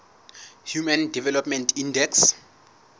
human development index